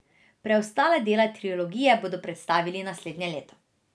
Preostala dela trilogije bodo predstavili naslednje leto.